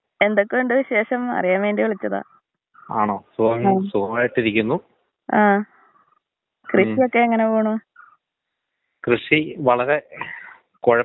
Speaker 1 എടാ, ഞാൻ ഒരു പ്രോജക്ട് വർക്ക് ചെയ്യുന്നുണ്ട്. അതിനാണങ്കി കാലാവസ്ഥയും അതിന്‍റൂടൊള്ള രോഗത്തിനെ കുറിച്ചും നിന്‍റടത്ത് ചോദിക്കാൻ വേണ്ടി വിളിച്ചതാണ്. നിന്‍റെ അഭിപ്രായം പറ.